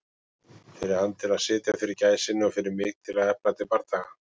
Fyrir hann til að sitja fyrir gæsinni og fyrir mig til að efna til bardaga.